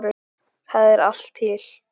Þar er allt til.